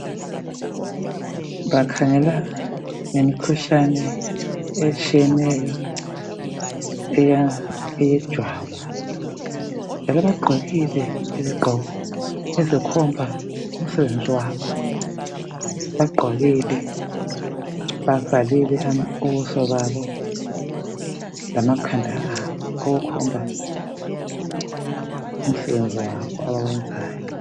bakhangela ngemikhuhlane etshiyeneyo eyejwabu vele bagqokile izigqoko ezikhomba umsebenzi wabo bagqokile bavalile ubuso babo lamakhanda abo okukhomba umsebenzi wabo abawenzayo